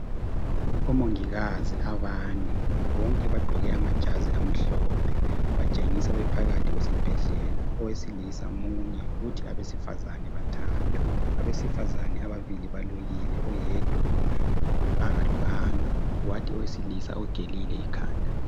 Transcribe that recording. Omongikazi abane, bonke bagqoke amajazi amhlophe, batshengisa bephakathi kwesibhedlela . Owesilisa munye kuthi abesifazana bathathu. Abesifazana ababili balukile , oyedwa akalukanga. Kwathi owesilisa ugelile ikhanda.